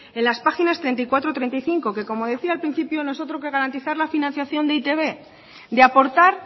en las páginas treinta y cuatro y treinta y cinco que como decía al principio no es otro que garantizar la financiación de e i te be de aportar